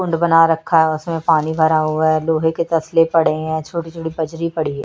कुंड बना रखा है उसमें पानी भरा हुआ है लोहे के तसले पड़े हैं छोटी छोटी पजरी पड़ी हैं।